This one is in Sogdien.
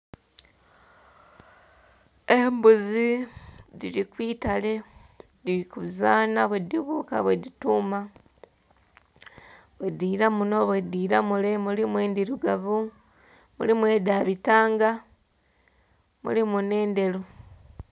Embuzi dhili kwitale, dhili kuzaana bwedhibuuka, bwedhituuma, bwedhiila munno, bwedhiila mule. Mulimu endhirugavu, mulimu edha bitanga, mulimu n'endheru.